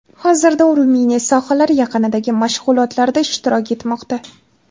Hozirda u Ruminiya sohillari yaqinidagi mashg‘ulotlarda ishtirok etmoqda.